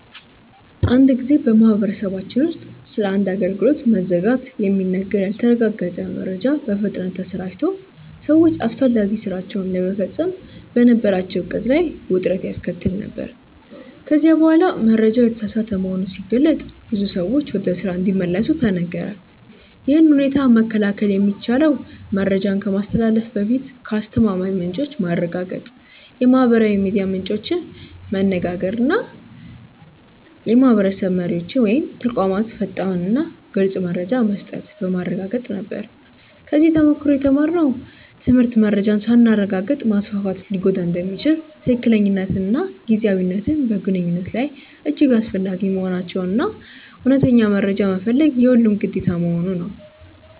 አንድ ጊዜ በማህበረሰባችን ውስጥ ስለ አንድ አገልግሎት መዘጋት የሚነገር ያልተረጋገጠ መረጃ በፍጥነት ተሰራጭቶ ሰዎች አስፈላጊ ሥራቸውን ለመፈጸም በነበራቸው ዕቅድ ላይ ውጥረት ያስከተለ ነበር፤ ከዚያ በኋላ መረጃው የተሳሳተ መሆኑ ሲገለጥ ብዙ ሰዎች ወደ ስራ እንዲመለሱ ተነገረ። ይህን ሁኔታ መከላከል የሚቻለው መረጃን ከማስተላለፍ በፊት ከአስተማማኝ ምንጮች ማረጋገጥ፣ የማህበራዊ ሚዲያ ምንጮችን መነጋገር እና የማህበረሰብ መሪዎች ወይም ተቋማት ፈጣንና ግልፅ መረጃ መስጠት በማረጋገጥ ነበር። ከዚህ ተሞክሮ የተማርነው ትምህርት መረጃን ሳናረጋግጥ ማስፋፋት ሊጎዳ እንደሚችል፣ ትክክለኛነትና ጊዜያዊነት በግንኙነት ላይ እጅግ አስፈላጊ መሆናቸውን እና እውነተኛ መረጃ መፈለግ የሁሉም ግዴታ መሆኑን ነው።